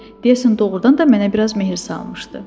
Deyəsən, doğrudan da mənə biraz mehriban salmışdı.